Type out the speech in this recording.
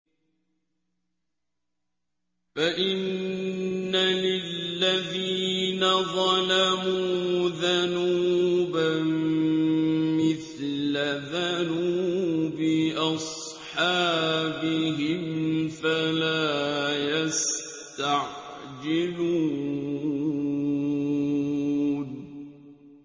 فَإِنَّ لِلَّذِينَ ظَلَمُوا ذَنُوبًا مِّثْلَ ذَنُوبِ أَصْحَابِهِمْ فَلَا يَسْتَعْجِلُونِ